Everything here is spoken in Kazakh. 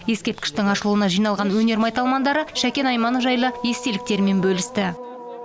ескерткіштің ашылуына жиналған өнер майталмандары шәкен айманов жайлы естеліктерімен бөлісті